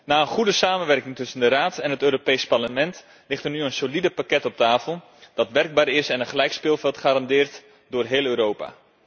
Na een goede samenwerking tussen de Raad en het Europees Parlement ligt er nu een solide pakket op tafel dat werkbaar is en een gelijk speelveld garandeert door heel Europa.